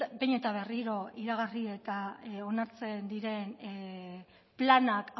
behin eta berriro iragarri eta onartzen diren planak